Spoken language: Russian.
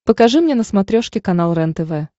покажи мне на смотрешке канал рентв